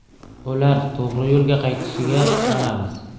Ular to‘g‘ri yo‘lga qaytishiga ishonamiz.